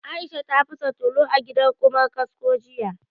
Aisha ta fasa tulu a gidan Ƙumar kasko jiya